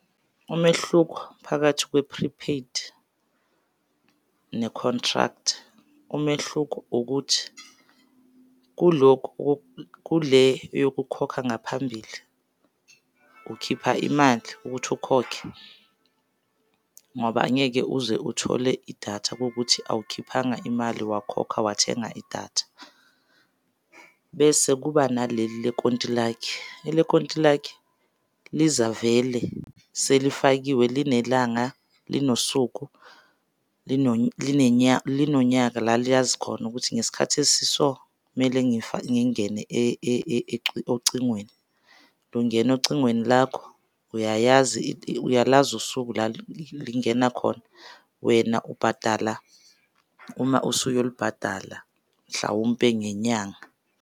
Umehluko phakathi kwe-prepaid nekhontrakthi, umehluko ukuthi kulokhu, kule eyokukhokha ngaphambili ukhipha imali ukuthi ukhokhe ngoba angeke uze uthole idatha kuwukuthi awukhiphanga imali wakhokha wathenga idatha. Bese kuba naleli le kontilaki, ele kontilaki lizavele selifakiwe linelanga linosuku linonyaka la liyazi khona ukuthi ngesikhathi esiso kumele ngingene ocingweni. Lungena ocingweni lakho uyalazi usuku lingena khona wena ubhadala uma usuyoli bhadala mhlawumpe ngenyanga.